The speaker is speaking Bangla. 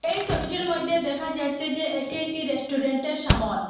এই সবিটির মইধ্যে দেখা যাচ্ছে যে এটি একটি রেস্টুরেন্টের সামোন।